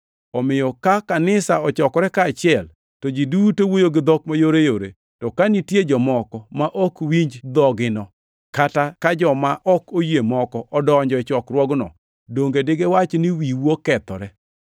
Omiyo ka kanisa ochokore kaachiel, to ji duto wuoyo gi dhok mayoreyore, to ka nitie jomoko ma ok winj dhogino, kata ka joma ok oyie moko odonjo e chokruogno, donge digiwach ni wiu okethore?